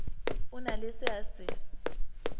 na le se a se